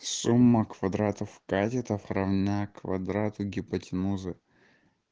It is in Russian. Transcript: сумма квадратов катетов равна квадрату гипотенузы